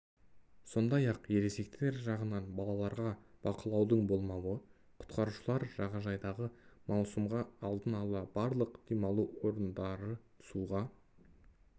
сондай-ақ ересектер жағынан балаларға бақылаудың болмауы құтқарушылар жағадайдағы маусымға алдын ала барлық демалу орындары суға